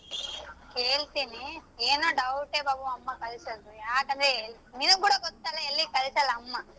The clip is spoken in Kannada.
ಕೇಳ್ತೀನಿ ಏನೋ doubt ಬಾಬು ಅಮ್ಮಾ ಕಳ್ಸೋದು ಯಾಕಂದ್ರೆ ನಿನ್ಗ್ ಕೂಡಾ ಗೊತ್ತಲಾ ಎಲ್ಲಿ ಕಳಸಲ್ಲಾ ಅಮ್ಮ.